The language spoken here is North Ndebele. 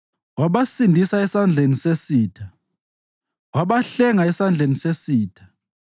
Wabasindisa esandleni sesitha; wabahlenga esandleni sesitha.